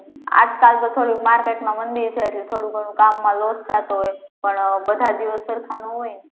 હમ્મ આજ કાલ તો થોડું market માં મંદી છે એટલે થોડું ઘણું કામ માં loss થતો હોય પણ બધાં દિવસ સરખા ના હોય